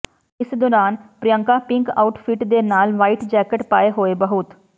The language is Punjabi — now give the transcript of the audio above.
ਇਸ ਦੌਰਾਨ ਪ੍ਰਿਯੰਕਾ ਪਿੰਕ ਆਊਟਫਿੱਟ ਦੇ ਨਾਲ ਵਹਾਇਟ ਜੈਕੇਟ ਪਾਏ ਹੋਏ ਬਹੁਤ